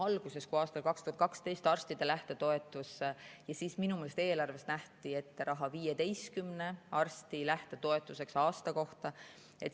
Alguses, kui aastal 2012 arstide lähtetoetus, siis minu meelest nähti eelarves ette raha 15 arsti lähtetoetuseks aasta kohta.